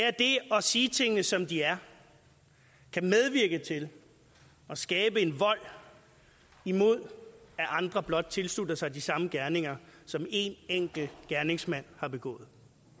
at det at sige tingene som de er kan medvirke til at skabe en vold imod at andre blot tilslutter sig de samme gerninger som en enkelt gerningsmand har begået